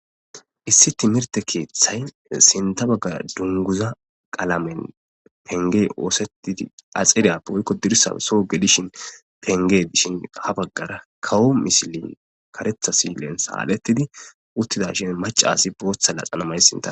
Issi timirte keeththay sinta baggara dunguza qalamen pengey oosettidi axeriyappe woykko dirissae soo gelishin penge dishin ha baggara kawo misili karetha silen saalettidi uttida shin maca asi booththa laxana may sinta.